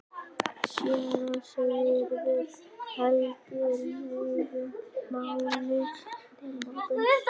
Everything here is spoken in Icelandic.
SÉRA SIGURÐUR: Hugleiðum málið til morguns.